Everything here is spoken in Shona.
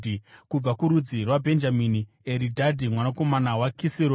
Kubva kurudzi rwaBhenjamini, Eridhadhi mwanakomana waKisironi;